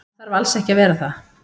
Hann þarf alls ekki að vera það.